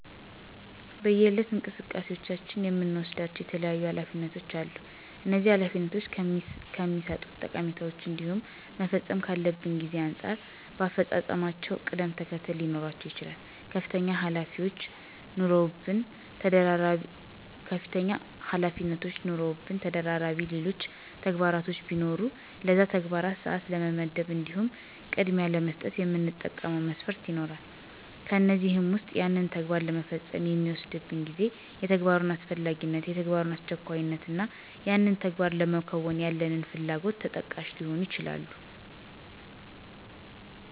በየዕለት እንቅስቃሴዎቻችን የምንወስዳቸው የተለያዩ ኃላፊነቶች አሉ፤ እነዚህ ኃላፊነቶች ከሚሠጡት ጠቀሜታ እንዲሁም መፈጸም ካለበት ጊዜ አንጻር በአፈፃፀማቸው ቅደም ተከተለ ሊኖራቸው ይችላል። ከፍተኛ ኃላፊነቶች ኑረውብን ተደራቢ ሌሎች ተግባራቶች ቢኖሩ ለነዛ ተግባራት ሰዓት ለመመደብ እንዲሁም ቅድሚያ ለመስጠት የምንጠቀመው መስፈርት ይኖራል፤ ከእነዚህም ዉስጥ ያንን ተግባር ለመፈጸም የሚወስድብን ጊዜ፣ የተግባሩ አስፈላጊነት፣ የተግባሩ አስቸኳይነት እና ያንን ተግባር ለማከናወን ያለን ፍላጎት ተጠቃሽ ሊሆኑ ይችላሉ።